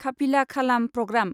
खाफिला खालाम प्रग्राम